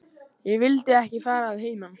Ég vildi ekki fara að heiman.